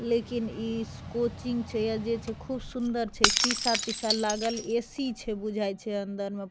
लेकिन ई श कोचिंग छे अ जे छे खूब सुन्दर छे शीशा-तीसा लागल ए.सी. छे बुझाय छे अंदर में --